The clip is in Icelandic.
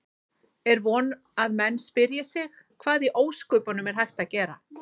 Er von að menn spyrji sig: Hvað í ósköpunum er hægt að gera?